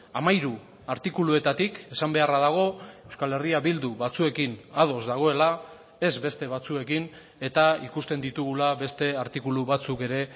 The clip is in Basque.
hamairu artikuluetatik esan beharra dago euskal herria bildu batzuekin ados dagoela ez beste batzuekin eta ikusten ditugula beste artikulu batzuk ere